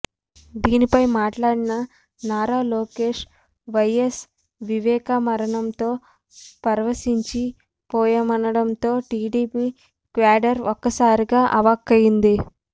దీనిపై మాట్లాడిన నారా లోకేష్ వైఎస్ వివేకా మరణంతో పరవశించిపోయామనడంతో టీడీపీ క్యాడర్ ఒక్కసారిగా అవాక్కయింది